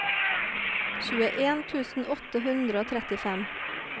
tjueen tusen åtte hundre og trettifem